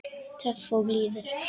Töff og blíður.